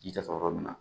Ji jɔyɔrɔ min na